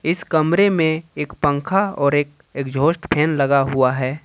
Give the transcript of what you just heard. इस कमरे में एक पंखा और एक एग्जॉस्ट फैन लगा हुआ है।